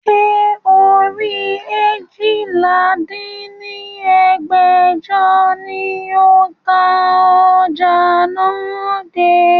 Ṣé orí eéjìlá dín ní ẹgbẹ́jọ ni ó ka ọjà náà dé?